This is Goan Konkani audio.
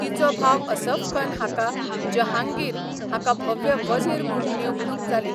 तिचो भाव असफखान हाका जहांगीर हाका भव्य वझीर म्हूण नेमणूक जाली.